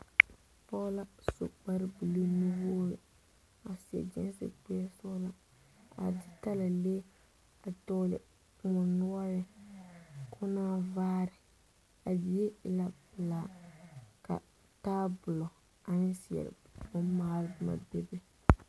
Pɔge la su kpare buluu nu-wogiri a seɛ gyiisi k'o e bonsɔgelaa a de talalee a dɔgele kõɔ noɔreŋ k'o naa vaare a die e la pelaa ka taabolo ane zeɛre bommaale boma bebe.